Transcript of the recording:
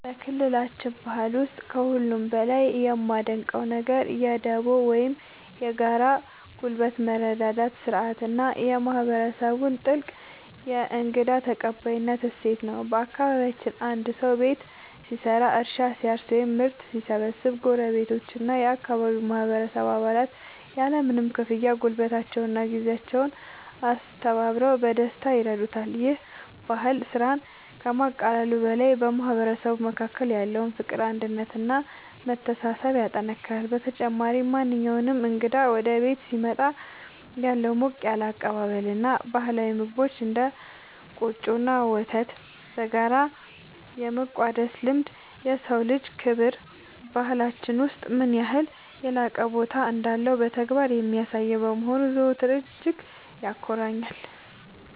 በክልላችን ባህል ውስጥ ከሁሉ በላይ የማደንቀው ነገር የ"ዱቦ" (Dubo) ወይም የጋራ ጉልበት መረዳዳት ሥርዓት እና የማህበረሰቡን ጥልቅ የእንግዳ ተቀባይነት እሴት ነው። በአካባቢያችን አንድ ሰው ቤት ሲሰራ፣ እርሻ ሲያርስ ወይም ምርት ሲሰበስብ ጎረቤቶችና የአካባቢው ማህበረሰብ አባላት ያለምንም ክፍያ ጉልበታቸውንና ጊዜያቸውን አስተባብረው በደስታ ይረዱታል። ይህ ባህል ስራን ከማቃለሉ በላይ በማህበረሰቡ መካከል ያለውን ፍቅር፣ አንድነት እና መተሳሰብ ያጠናክራል። በተጨማሪም፣ ማንኛውም እንግዳ ወደ ቤት ሲመጣ ያለው ሞቅ ያለ አቀባበል እና ባህላዊ ምግቦችን (እንደ ቆጮ እና ወተት) በጋራ የመቋደስ ልማድ፣ የሰው ልጅ ክብር በባህላችን ውስጥ ምን ያህል የላቀ ቦታ እንዳለው በተግባር የሚያሳይ በመሆኑ ዘወትር እጅግ ያኮራኛል።